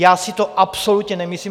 Já si to absolutně nemyslím.